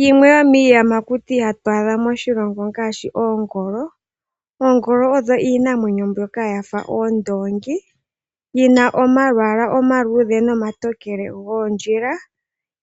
Yimwe yomiiyamakuti hatu adha moshilongo ongaashi oongolo. Oongolo odho iinamwenyo mbyoka yafa oondongi yina omalwaala omaluudhe nomatokele goondjila.